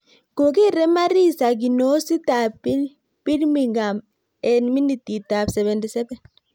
Kogere Marisa kinoosit ap Birmingham eng' minitiit ap 77